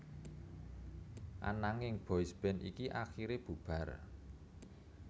Ananging boysband iki akiré bubar